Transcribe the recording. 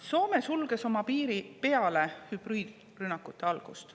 Soome sulges oma piiri peale hübriidrünnakute algust.